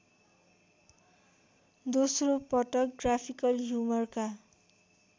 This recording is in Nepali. दोस्रोपटक ग्राफिकल ह्युमरका